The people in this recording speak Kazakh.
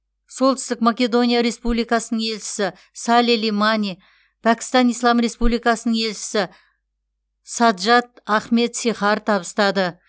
солтүстік македония республикасының елшісі сали лимани пәкістан ислам республикасының елшісі саджад ахмед сихар табыстады